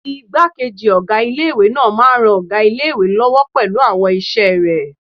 Ìgbákejì ọgá ilé-ìwé náà máa n ran ọgá ilé-ìwé lọ́wọ́ pẹ̀lú àwọn iṣẹ́ rẹ̀